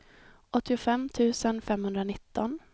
åttiofem tusen femhundranitton